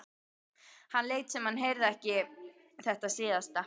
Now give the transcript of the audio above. Hann lét sem hann heyrði ekki þetta síðasta.